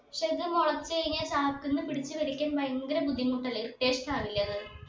പക്ഷെ ഇത് മുളച്ച് കഴിഞ്ഞ ചാക്കിന്ന് പിടിച്ചു വലിക്കാൻ ഭയങ്കര ബുദ്ധിമുട്ടല്ലേ irritation ആവൂല്ലേ അത്